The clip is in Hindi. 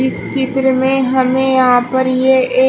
चित्र में हमें यहां पर ये ए--